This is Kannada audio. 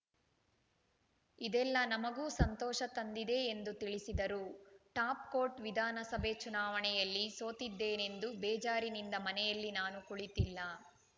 ಇದೆಲ್ಲಾ ನಮಗೂ ಸಂತೋಷ ತಂದಿದೆ ಎಂದು ತಿಳಿಸಿದರು ಟಾಪ್‌ಕೋಟ್‌ ವಿಧಾನಸಭೆ ಚುನಾವಣೆಯಲ್ಲಿ ಸೋತಿದ್ದೇನೆಂದು ಬೇಜಾರಿನಿಂದ ಮನೆಯಲ್ಲಿ ನಾನು ಕುಳಿತಿಲ್ಲ